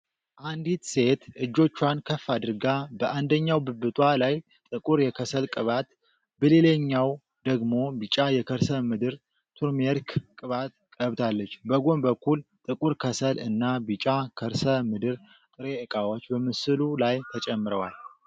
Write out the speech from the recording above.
አንዲት ሴት እጆቿን ከፍ አድርጋ በአንደኛው ብብቷ ላይ ጥቁር የከሰል ቅባት በሌላኛው ደግሞ ቢጫ የከርሰ ምድር (ቱርሜሪክ) ቅባት ቀብታለች። በጎን በኩል ጥቁር ከሰል እና ቢጫ ከርሰ ምድር ጥሬ እቃዎች በምስሉ ላይ ተጨምረዋል።